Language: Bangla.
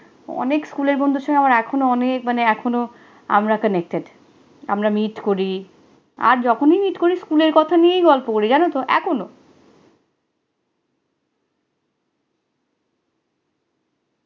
অনেক স্কুলের বন্ধুর সাথে আমার এখনো অনেক মানে এখনো আমরা connected আমরা meet করি। আর যখনই meet করি স্কুলের কথা নিয়েই গল্প করি, জানতো, এখনো।